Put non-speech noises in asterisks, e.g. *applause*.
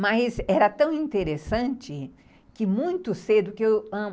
Mas era tão interessante que muito cedo *unintelligible*